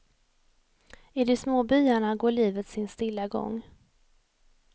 I de små byarna går livet sin stilla gång.